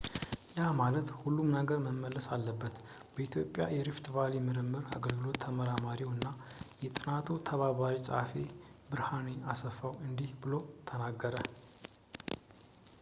ያ ማለት ሁሉም ነገር መመለስ አለበት በኢትዮጵያ የሪፍት ቫሊ ምርምር አገልግሎት ተመራማሪው እና የጥናቱ ተባባሪ ጸሀፊው ብርሃኔ አስፋው እንዲህ ብሎ ተናገረ